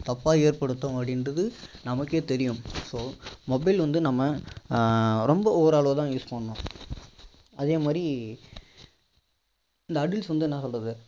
தப்பா ஏற்படுத்தோம் அப்படிங்கிறது நமக்கே தெரியும் so mobile வந்து நம்ம ரொம்ப ஒரு அளவு தான் use பண்ணனும் அதே மாதிரி இந்த addicts வந்து என்ன சொல்றது